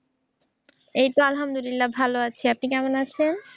এই তো আলহামদুলিল্লা ভালো আছি। আপনি কেমন আছেন?